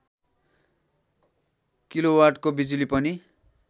किलोवाटको बिजुली पनि